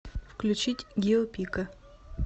включить гио пика